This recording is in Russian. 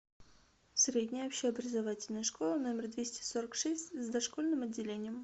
средняя общеобразовательная школа номер двести сорок шесть с дошкольным отделением